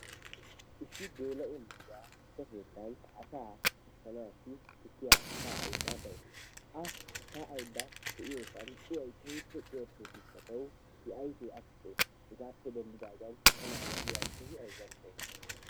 Issi geela'o na'iya tukke keettan asaa ushshanaassi tukkiya sha'aydda de'awusu a sha'aydda deiyogan tukkee keehippe cuyattees I ayfee afuxxees hegaappeguye tana na'iya keehi azzanttawusu.